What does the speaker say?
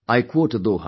I quote a doha